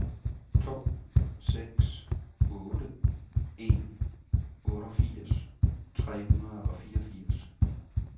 to seks otte en otteogfirs tre hundrede og fireogfirs